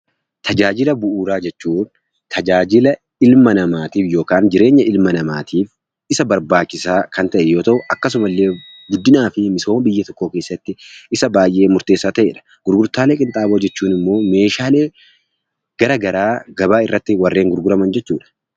Tajaajila Bu'uuraa jechuun tajaajila ilma namaa tiif yookaan jireenya ilma namaatiif isa barbaachisaa kan ta'e yoo ta'u, akkasumallee guddinaa fi misooma biyya tokkoo keessatti isa baay'ee murteessaa ta'e dha. Gurgurtaalee Qinxaaboo jechuun immoo meeshaalee gara garaa gabaa irratti warreen gurguraman jechuu dha.